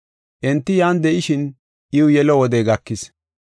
Enti yan de7ishin iw yelo wodey gakis.